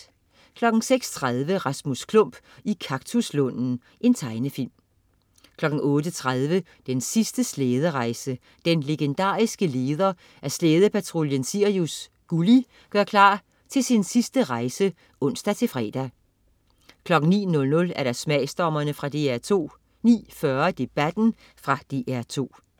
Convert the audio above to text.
06.30 Rasmus Klump i kaktuslunden. Tegnefilm 08.30 Den sidste slæderejse. Den legendariske leder af Slædepatruljen Sirius "Gulli" gør klar til sin sidste rejse (ons-fre) 09.00 Smagsdommerne. Fra DR2 09.40 Debatten. Fra DR2